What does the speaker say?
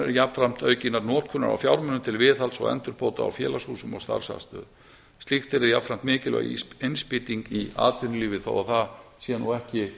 jafnframt aukinnar notkunar á fjármunum til viðhalds og endurbóta á félagshúsum og starfsaðstöðu slíkt yrði jafnframt innspýting í atvinnulífið þó það sé nú ekki